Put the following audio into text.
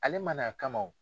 Ale mana a kama wo.